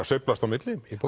sveiflast á milli